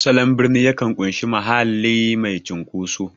Salon birni yakan ƙunshi mahalli mai cunkoso.